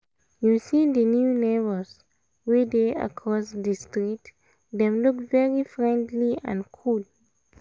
you see the new neighbours wey dey across the street? dem look very friendly and cool